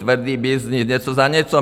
Tvrdý byznys, něco za něco!